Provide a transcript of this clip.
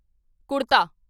ਕੁੜਤਾ